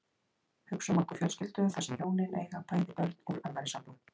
Hugsum okkur fjölskyldu þar sem hjónin eiga bæði börn úr annarri sambúð.